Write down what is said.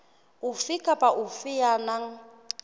ofe kapa ofe ya nang